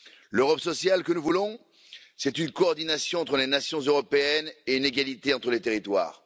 L'Europe sociale que nous voulons, c'est une coordination entre les nations européennes et une égalité entre les territoires.